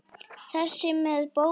Þessi með bóluna?